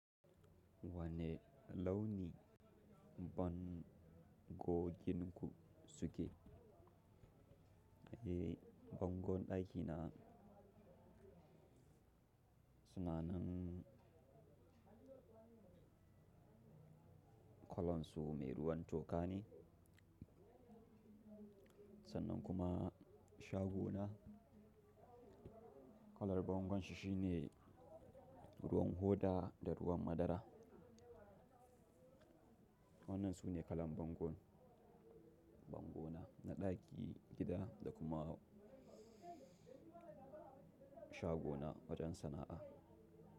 Wanne launi bango ginin ku suke? Ehh bangon ɗaki na suna nan kalan su mai ruwan toka ne, sannan kuma shago na kalar bangon shi shine ruwan hoda da ruwan madara. Wannan su ne kalan bango, bangona na ɗaki gida da kuma shago na wajen sana'a.